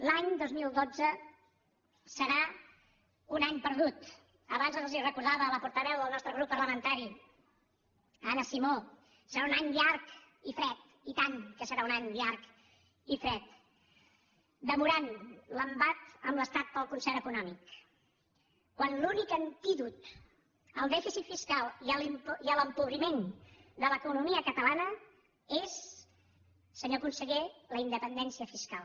l’any dos mil dotze serà un any perdut abans els ho recordava la portaveu del nostre grup parlamentari anna simó serà un any llarg i fred i tant que serà un any llarg i fred demorant l’embat amb l’estat pel concert econòmic quan l’únic antídot al dèficit fiscal i a l’empobriment de l’economia catalana és senyor conseller la independència fiscal